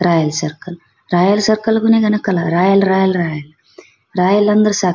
royal circle royal circle royal royal royal royal ಅಂದ್ರೆ ಸ--